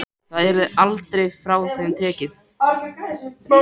Það yrði aldrei frá þeim tekið.